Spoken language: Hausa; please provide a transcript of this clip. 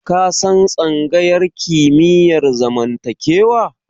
Ka san tsangayar kimiyyar zamantakewa?